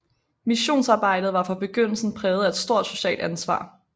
Missionsarbejdet var fra begyndelsen præget af et stort socialt ansvar